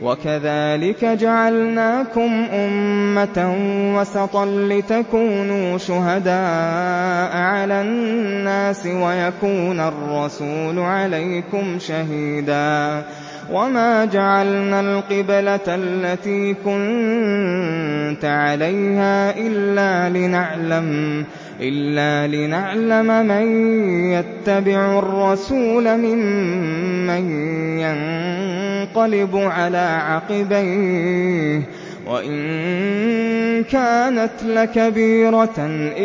وَكَذَٰلِكَ جَعَلْنَاكُمْ أُمَّةً وَسَطًا لِّتَكُونُوا شُهَدَاءَ عَلَى النَّاسِ وَيَكُونَ الرَّسُولُ عَلَيْكُمْ شَهِيدًا ۗ وَمَا جَعَلْنَا الْقِبْلَةَ الَّتِي كُنتَ عَلَيْهَا إِلَّا لِنَعْلَمَ مَن يَتَّبِعُ الرَّسُولَ مِمَّن يَنقَلِبُ عَلَىٰ عَقِبَيْهِ ۚ وَإِن كَانَتْ لَكَبِيرَةً